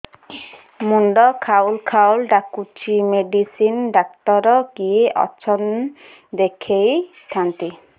ମୁଣ୍ଡ ଖାଉଲ୍ ଖାଉଲ୍ ଡାକୁଚି ମେଡିସିନ ଡାକ୍ତର କିଏ ଅଛନ୍ ଦେଖେଇ ଥାନ୍ତି